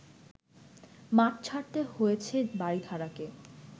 মাঠ ছাড়তে হয়েছে বারিধারাকে